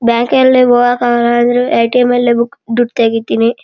Bank ಯ್ಲಲಿಗ್ ಹೋಗ್ಯಾಕ್ ಆಗಲ್ಲಾ ಅಂದ್ರು ಎಟಿಎಂ ನಲ್ಲಿ ದುಡ್ ತೆಗಿತೀನಿ.